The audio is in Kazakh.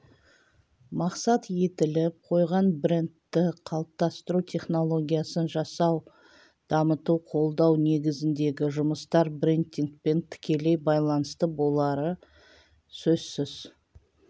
мақсат етіліп қойған брендті қалыптастыру технологиясын жасау дамыту қолдау негізіндегі жұмыстар брендингпен тікелей байланысты болары сөзсіз